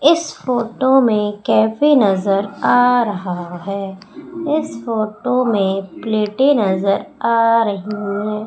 इस फोटो में कैफे नजर आ रहा है इस फोटो में प्लैटे नजर आ रही है।